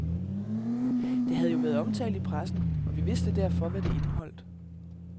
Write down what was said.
Det havde jo været omtalt i pressen, og vi vidste derfor, hvad det indeholdt.